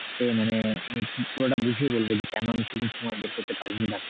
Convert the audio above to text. মানে আমি পুরোটা বুঝিয়ে বলবো যে কেনো আমি সেদিন সময় বের করতে পারিনি ।